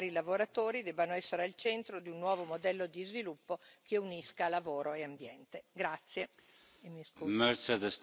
Credo che le persone, in questo caso particolare i lavoratori, debbano essere al centro di un nuovo modello di sviluppo che unisca lavoro e ambiente.